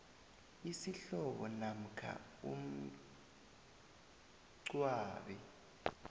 isihlobo namkha umngcwabi